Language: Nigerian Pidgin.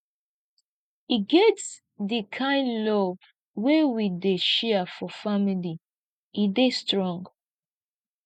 e get di kain love wey we dey share for family e dey strong